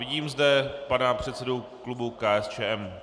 Vidím zde pana předsedu klubu KSČM.